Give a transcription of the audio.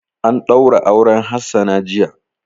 An ɗaura auren Hassana jiya.